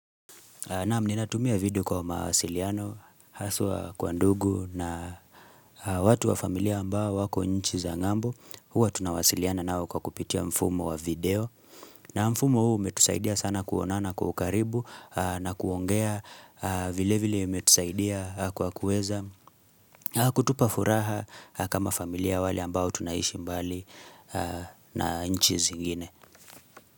Naam ninatumia video kwa mawasiliano, haswa kwa ndugu na watu wa familia ambao wako nchi za ng'ambo. Huwa tunawasiliana nao kwa kupitia mfumo wa video na mfumo huu umetusaidia sana kuonana kwa ukaribu na kuongea, vile vile imetusaidia kwa kuweza kutupa furaha kama familia ya wale ambao tunaishi mbali na nchi zingine.